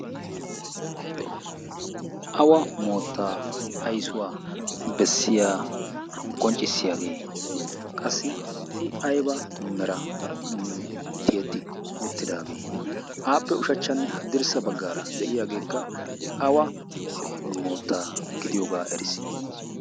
awa moottaa aysuwaa bessiya qonccissiyaagee qassi i aiba mera tiyeti oottidaagee aappe ushachchanne haddirssa baggaara de'iyaageekka awa moottaa gidiyoogaa erisi?